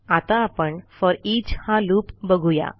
आता आपण फोरिच हा लूप बघू या